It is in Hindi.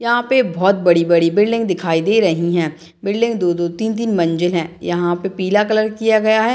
यहाँ पे बहुत बड़ी-बड़ी बिल्डिंग दिखाई दे रही है बिल्डिंग दो-दो तीन-तीन मंजिल है यहाँ पे पीला कलर किया गया है।